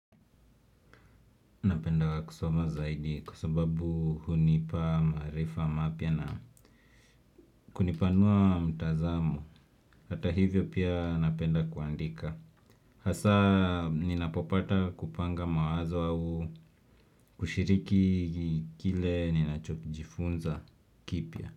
Napenda kusoma zaidi kwa sababu hunipa maarifa mapya na kunipanua mtazamo. Hata hivyo pia napenda kuandika. Hasaa ninapopata kupanga mawazo au kushiriki kile ninachojifunza kipya.